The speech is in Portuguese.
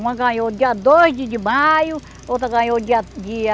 Uma ganhou dia dois de maio, outra ganhou dia dia